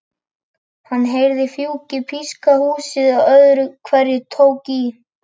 Hann heyrði fjúkið píska húsið og öðru hverju tók í.